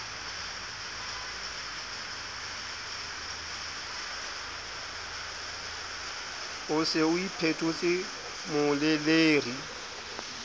o se o iphetotse moleleri